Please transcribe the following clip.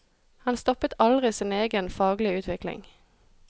Han stoppet aldri sin egen faglige utvikling.